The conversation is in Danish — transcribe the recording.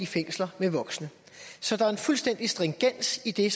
fængsel med voksne så der er en fuldstændig stringens i det